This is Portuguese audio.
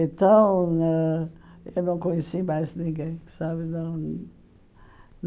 Então, ãh eu não conheci mais ninguém sabe da onde.